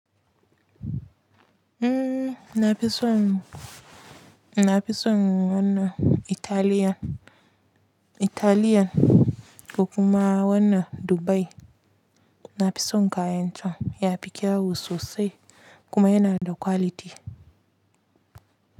Na fi son, na fi son na wanna Italian, Italian, ko kuma wannan Dubai na fi son kayanta, ya fi kyau sosai kuma yana da quality.